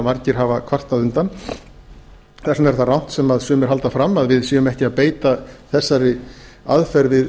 margir hafa kvartað undan þess vegna er það rangt sem sumir halda fram að við séum ekki að beita þessari aðferð við